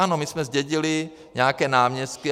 Ano, my jsme zdědili nějaké náměstky.